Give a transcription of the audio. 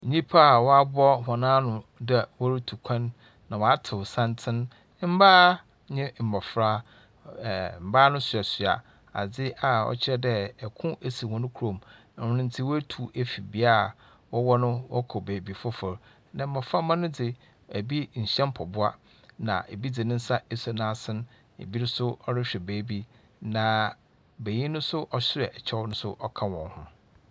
Nnyimpa binom a wɔaboa hɔn ano dɛ wɔretu kwan. Na wɔatow santen. Mmaa ne mbofra, ɛmbaa no no soɛsoɛ adze a ɔkyerɛ dɛ ɔko asi hɔn kuro mu. Ɔno nti wɔatu afi bea wɔwɔ no wɔkɔ baabi fofor. Na mboframma no dze, ebi nhyɛ mpɔboa. Na bi dze ne nsa asɔ n'aso. Ebi nso rehwɛ baabi. Na benyin nso ɔhyɛ kyɛw no ka wɔn ho.